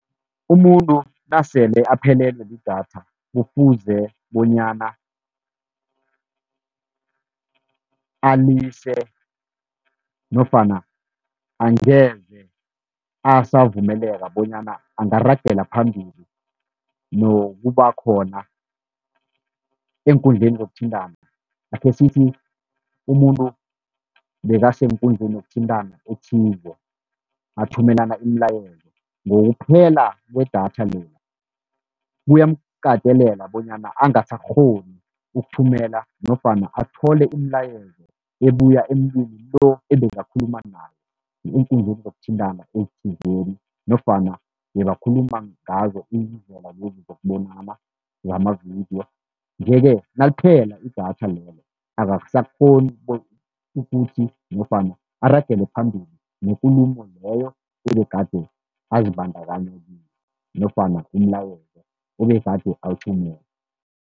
Umuntu nasele aphelelwe lidatha kufuze bonyana alise, nofana angeze asavumeleka bonyana angaragela phambili nokuba khona eenkundleni zokuthintana. Akhe sithi umuntu bekasenkundleni yokuthintana ethize athumelana imilayezo, ngokuphela kwedatha lela kuyamkatelela bonyana angasakghoni ukuthumela, nofana athole imilayezo ebuya emntwini lo ebekakhuluma naye eenkundleni zokuthintana ezithizeni, nofana bebakhuluma ngazo iindlela lezi zokubonana wamavidiyo. Nje-ke naliphela idatha lelo akasakghoni ukuthi nofana aragele phambili nekulumo leyo ebegade azibandakanya kiyo, nofana umlayezo obegade awuthumela.